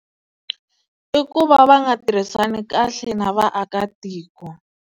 I ku va va nga tirhisani kahle na vaakatiko.